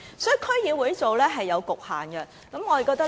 所以，區議會做這些工作是有局限的。